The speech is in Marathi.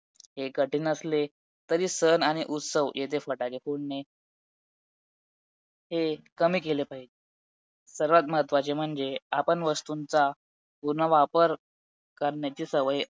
की म्हणजे पेपर solve केल्यानंतर समजेल मला माझ्याकडुन किती प्रश्प सूट त्यात किती प्रश्न माझ्याकडून सुटत नाही आहे